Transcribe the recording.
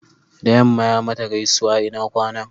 da yamma ya mata gaisuwa ina kwana